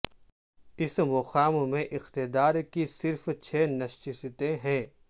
اس مقام میں اقتدار کی صرف چھ نشستیں ہیں